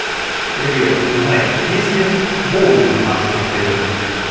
привет узнай есть ли боулинг в нашем отеле